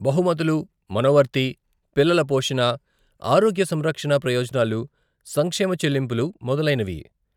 బహుమతులు, మనోవర్తి, పిల్లల పోషణ, ఆరోగ్య సంరక్షణ ప్రయోజనాలు, సంక్షేమ చెల్లింపులు మొదలైనవి.